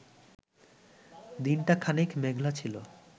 দিনটা খানিক মেঘলা ছিল